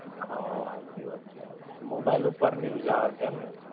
હમ્મ, હાચી વાત છે. Mobile ઉપર news આવે છે એમ ને.